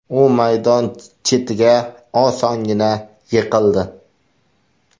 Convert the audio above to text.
U maydon chetiga osongina yiqildi.